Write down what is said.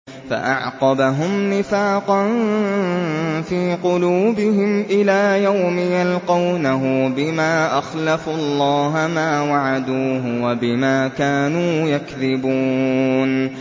فَأَعْقَبَهُمْ نِفَاقًا فِي قُلُوبِهِمْ إِلَىٰ يَوْمِ يَلْقَوْنَهُ بِمَا أَخْلَفُوا اللَّهَ مَا وَعَدُوهُ وَبِمَا كَانُوا يَكْذِبُونَ